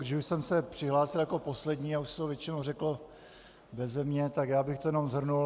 Když už jsem se přihlásil jako poslední a už se to většinou řeklo beze mě, tak já bych to jenom shrnul.